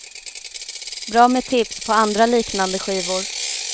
Bra med tips på andra liknande skivor.